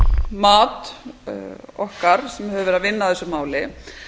mat okkar sem höfum unnið að þessu máli